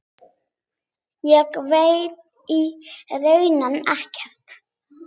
Ég veit í raun ekkert.